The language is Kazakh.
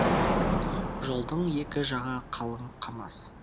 жолдың екі жағы қалың қамыс